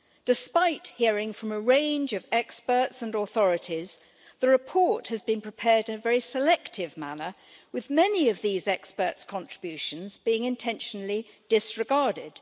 Despite hearing from a range of experts and authorities, the report has been prepared in a very selective manner with many of these experts' contributions being intentionally disregarded.